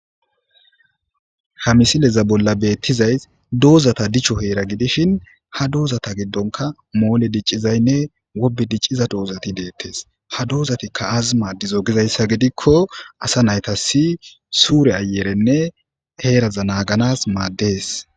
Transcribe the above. hamisileza bolla beettizays doozata dicho heera gidishin ha doozata giddonka moole diccizaynne wobe dicciza doozati deettes ha doozatikka azi maaddizo gizayssa gidikko asa nayta si suure ayerenne heeraza naaganas maaddees